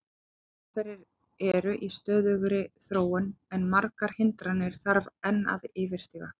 Aðferðir eru í stöðugri þróun en margar hindranir þarf að enn yfirstíga.